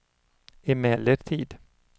emellertid